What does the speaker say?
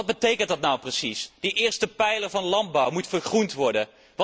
Maar wat betekent dat nou precies? De eerste pijler van landbouw moet 'vergroend' worden.